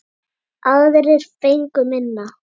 Aðrir fengu minna.